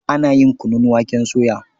Ana yin kunun waken soya.